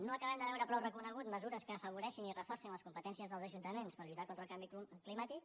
no acabem de veure prou reconegudes mesures que afavoreixin i reforcin les competències dels ajuntaments per lluitar contra el canvi climàtic